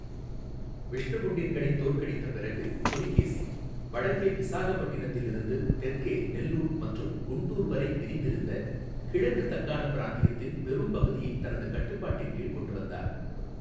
விஷ்ணுகுண்டின்களைத் தோற்கடித்த பிறகு, புலிகேசி வடக்கே விசாகப்பட்டினத்திலிருந்து தெற்கே நெல்லூர் மற்றும் குண்டூர் வரை விரிந்திருந்த கிழக்கு தக்காணப் பிராந்தியத்தின் பெரும் பகுதியைத் தனது கட்டுப்பாட்டின் கீழ் கொண்டுவந்தார்.